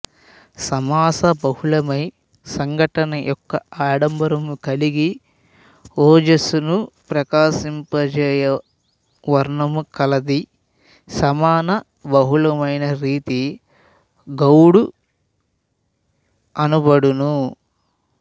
సమాస బహుళమై సంఘటన యెుక్క ఆడంబరము కలిగి ఓజస్సును ప్రకాశింపజేయ వర్ణము కలది సమాన బహుళమైన రీతి గౌడి అనబడును